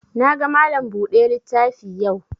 Na ga Malam buɗe littafi yau